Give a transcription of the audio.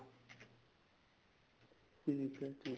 ਠੀਕ ਏ ਜੀ ਠੀਕ